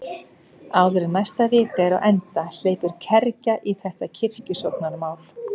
Áður en næsta vika er á enda hleypur kergja í þetta kirkjusóknarmál.